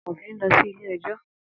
Amofin n lọ si ile-ẹjọ.